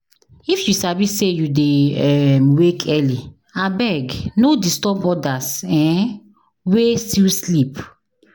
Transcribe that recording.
If you sabi say you dey um wake early, abeg no disturb others um wey still sleep.